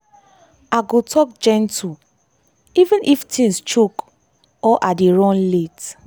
i go talk gentle even if things choke or i dey run late.